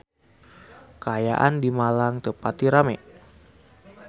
Kaayaan di Malang teu pati rame